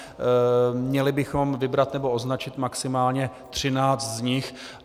Měli bychom vybrat nebo označit maximálně 13 z nich.